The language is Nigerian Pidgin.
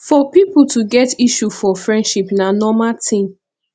for pipo to get issue for friendship na normal thing